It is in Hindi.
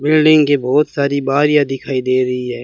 बिल्डिंग के बहोत सारी बारियां दिखाई दे रही है।